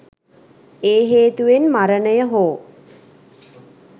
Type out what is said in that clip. ඒ හේතුවෙන් මරණය හෝ